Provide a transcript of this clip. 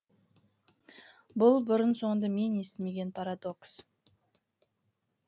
бұл бұрын соңды мен естімеген парадокс